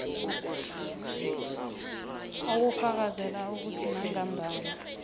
obufakazela ukuthi nangambala